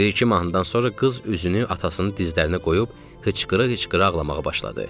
Bir-iki mahnıdan sonra qız üzünü atasının dizlərinə qoyub hıçqıra-hıçqıra ağlamağa başladı.